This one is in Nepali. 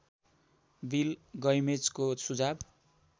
बिल गैमेजको सुझाव